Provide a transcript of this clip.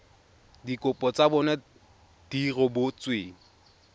dikopo tsa bona di rebotsweng